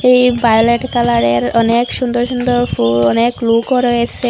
এই ভায়োলেট কালারের অনেক সুন্দর সুন্দর ফুল অনেক লোকও রয়েসে।